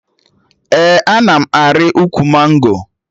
Ee, ana m arị ukwu mango